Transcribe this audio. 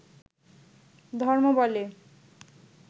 ধর্ম বলে